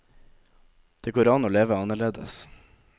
Det går an å leve annerledes.